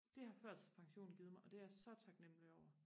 det har førtidspensionen givet mig og det er jeg så taknemmelig over